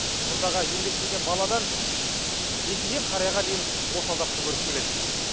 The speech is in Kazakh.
мұндағы еңбектеген баладан еңкейген қарияға дейін осы азапты көріп келеді